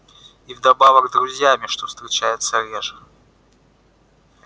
и вдобавок друзьями что встречается реже